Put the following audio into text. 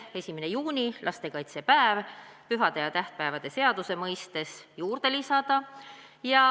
Esiteks, 1. juuni, lastekaitsepäev, pühade ja tähtpäevade seadusesse lisada.